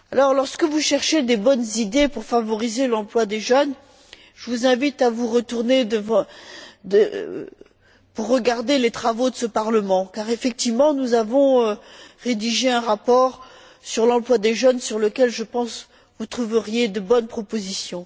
Lorsque vous cherchez de bonnes idées pour favoriser l'emploi des jeunes, je vous invite à vous pencher sur les travaux de ce Parlement car, effectivement, nous avons rédigé un rapport sur l'emploi des jeunes dans lequel, je pense, vous trouveriez de bonnes propositions.